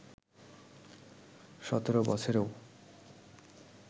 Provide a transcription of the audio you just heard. সতেরো বছরেও